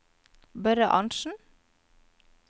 Børre Arntsen